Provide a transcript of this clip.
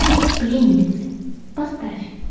пленницы поставь